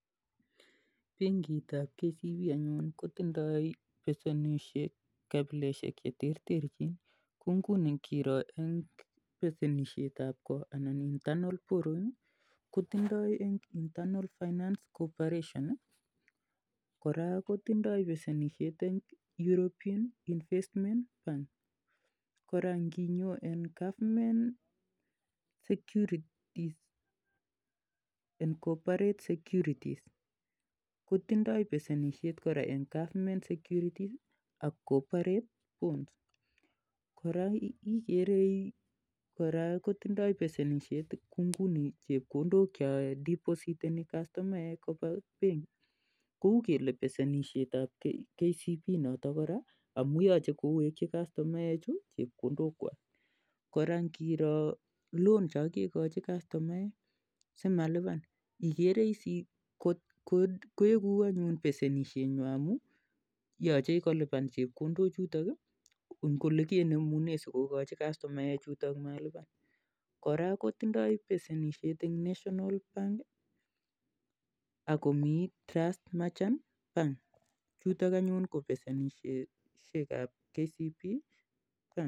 Penkit ap KCB anyun kotindai pesenishet kapiloshek che terterchin kou nguni ngiro eng' pesenishet ap ko anan internal borrowing ko tindai en Internal finance Cooperation. Kora ko tindai pesenishet eng' European Investment Bank. Kora nginyo en government security and cooperate securities kotindai kora pesenishet kora eng' government securities ak corporate bonds. Kora ikere kora kotindai pesenishet kou nguni chepkondok cha depositeni kastomaek ko pa penki kou kele pesenishet ap KCB notok koraa amun yache kowekchi kastomaechu chepkondokwak. Kora ngiro loans cha kekachi kastomaek simalipan ikere is ile eku pesenishenwa amun yache kolipan chepkondochutok eng' ole kenemune si kokachi kastomaechutok malipan . Kora kotindai pesenishet en National Bank ako mi Trust Merchant Bank. Chutok anyun ko peseniseshek ap KCB bank.